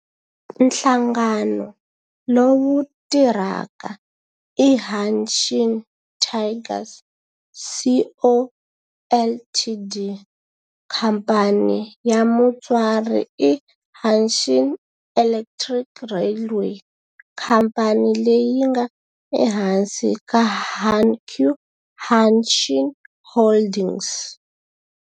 Nhlangano lowu tirhaka i Hanshin Tigers Co., Ltd. Khamphani ya mutswari i Hanshin Electric Railway khamphani leyi nga ehansi ka Hankyu Hanshin Holdings.